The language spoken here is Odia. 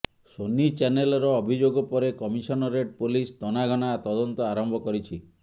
ସୋନି ଚ୍ୟନେଲର ଅଭିଯୋଗ ପରେ କମିଶନରେଟ ପୋଲିସ ତନାଘନା ତଦନ୍ତ ଆରମ୍ଭ କରିଛି